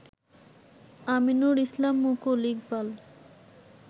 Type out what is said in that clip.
Aminur Islam Mukul, Iqbal